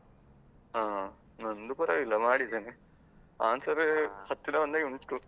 ಹಾ. ನಂದು ಪರ್ವಾಗಿಲ್ಲ ಮಾಡಿದ್ದೇನೆ, answer ಹತ್ತಿರ ಬಂದಹಾಗೆ ಉಂಟು.